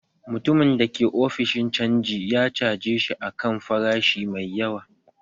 Mutumin da ke ofishin canji ya caje shi a kan farashi mai yawa